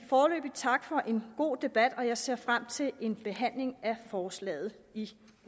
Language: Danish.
tak for en god debat jeg ser frem til en behandling af forslaget i